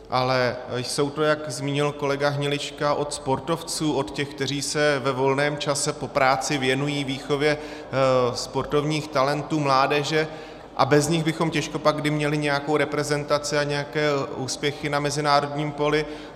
Ale jsou to, jak zmínil kolega Hnilička, od sportovců, od těch, kteří se ve volném čase po práci věnují výchově sportovních talentů, mládeže, a bez nich bychom těžko pak kdy měli nějakou reprezentaci a nějaké úspěchy na mezinárodním poli.